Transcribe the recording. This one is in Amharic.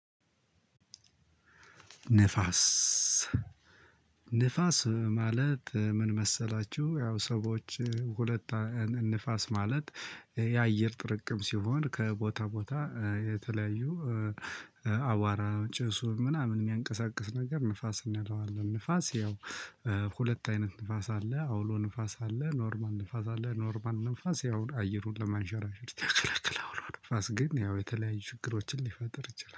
ንፋስ ንፋስ ማለት ምን መሰላችሁ? ያው ሰዎች ሁለት ንፋስ ማለት የአየር ጥርቅም ሲሆን ከቦታ ቦታ የተለያዩ አቧራ ጭሱ ምናምን የሚያንቀሳቅስ ነገር ንፋስ እንለዋለን። ንፋስ ያው ሁለት አይነት ንፋስ አለ አውሎ ንፋስ አለ ኖርማል ንፋስ አለ ኖርማል ንፋስ ያውም አየሩን ለማንሸራሸር ያገለግላል። አውሎ ንፋስ ግን ያው የተለያዩ ችግሮችን ሊፈጥር ይችላል